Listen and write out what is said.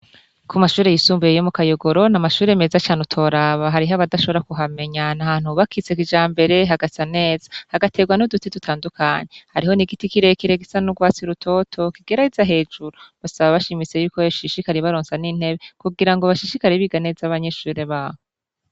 Ku mashure yisumbuye yo mu kayogorona n'amashure meza cane utoraba, hariho abadashobora kuhamenyana nahantu hubakitse kijambere hagasa neza hagaterwa n'uduti dutandukanye hariho n'igiti kirekire gisa n'urwasi rutoto kigereza hejuru basaba bashimitse yuko yoshishikara ibaronsa n'intebe kugira ngo bashishikari biga neza abanyeshure baho.